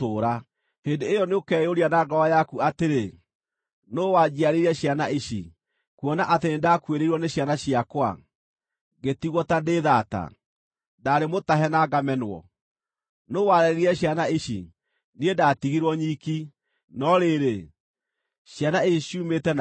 Hĩndĩ ĩyo nĩũkeyũria na ngoro yaku atĩrĩ, ‘Nũũ wanjiarĩire ciana ici, kuona atĩ nĩndakuĩrĩirwo nĩ ciana ciakwa, ngĩtigwo ta ndĩ thaata; ndaarĩ mũtahe na ngamenwo. Nũũ warerire ciana ici? Niĩ ndatigirwo nyiki, no rĩrĩ, ciana ici ciumĩte nakũ?’ ”